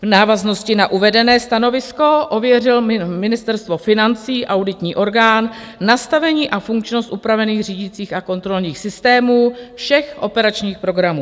V návaznosti na uvedené stanovisko ověřilo Ministerstvo financí, auditní orgán, nastavení a funkčnost upravených řídicích a kontrolních systémů všech operačních programů.